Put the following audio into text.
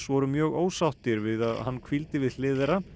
voru mjög ósáttir við að hann hvíldi við hlið þeirra